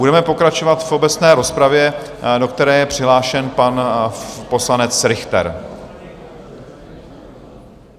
Budeme pokračovat v obecné rozpravě, do které je přihlášen pan poslanec Richter.